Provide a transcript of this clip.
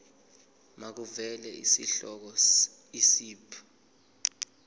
makuvele isihloko isib